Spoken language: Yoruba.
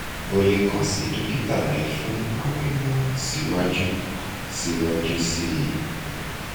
o le kan si dokita rẹ fun awọn imọran siwaju siwaju sii